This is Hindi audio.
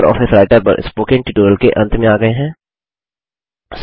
अब हम लिबरऑफिस राइटर पर स्पोकन ट्यूटोरियल के अंत में आ गये हैं